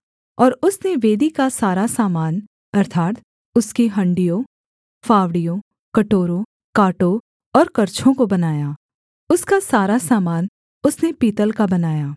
और उसने वेदी का सारा सामान अर्थात् उसकी हाँड़ियों फावड़ियों कटोरों काँटों और करछों को बनाया उसका सारा सामान उसने पीतल का बनाया